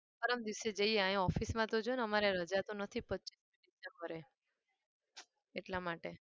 પરમ દિવસે જઈએ અહીંયા office માં તો છે ને અમારે રજા તો નથી પચ્ચીસ december એટલા માટે